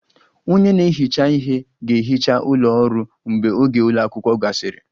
Onye na-ehicha ihe ga-ehicha ụlọ ọrụ mgbe oge ụlọ akwụkwọ gasịrị